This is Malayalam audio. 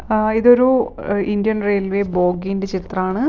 ആ ഇതൊരു ഇന്ത്യൻ റെയിൽവേ ബോഗിന്റെ ചിത്രാണ്.